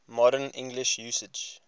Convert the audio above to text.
modern english usage